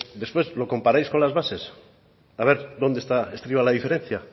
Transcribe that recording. después lo comparáis con las bases a ver dónde está estriba la diferencia